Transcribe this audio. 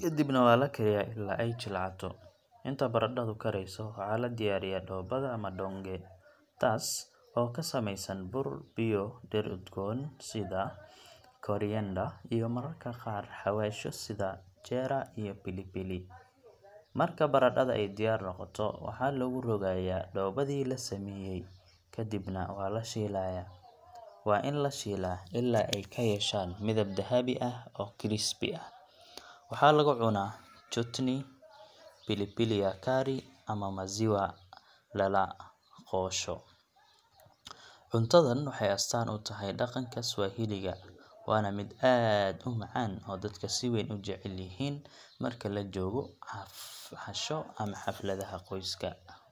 kadibna waa la kariyaa ilaa ay jilcato. Inta baradhadu karayso, waxaa la diyaariyaa dhoobada ama madonge taas oo ka samaysan bur, biyo, dhir udgoon sida koriander, iyo mararka qaar xawaashyo sida jeera iyo pilipili. Marka baradhada ay diyaar noqoto, waxaa lagu rogayaa dhoobadii la sameeyay, kadibna waa la shiilayaa. Waa in la shiilaa ilaa ay ka yeeshaan midab dahabi ah oo crispy ah. Waxaa lagu cunaa chutney, pili pili ya kari, ama maziwa lala qoosho. Cuntadan waxay astaan u tahay dhaqanka Swahili ga, waana mid aad u macaan oo dadka si weyn u jecel yihiin marka la joogo casho ama xafladaha qoyska.